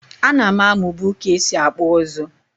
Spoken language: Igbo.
A nam amu bu ka esi akpụ ụzụ.